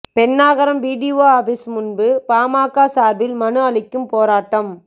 Pennagaram BDO office முன்பு பாமக சார்பில் மனு அளிக்கும் போராட்டம்